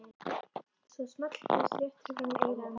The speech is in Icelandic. Svo small koss rétt fyrir framan eyrað á mér.